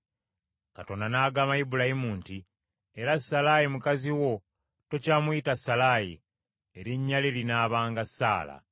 Katonda n’agamba Ibulayimu nti, “Era Salaayi mukazi wo, tokyamuyita Salaayi, erinnya lye linaabanga Saala.